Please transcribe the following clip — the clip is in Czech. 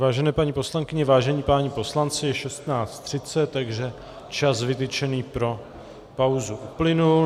Vážené paní poslankyně, vážení páni poslanci, je 16.30, takže čas vytyčený pro pauzu uplynul.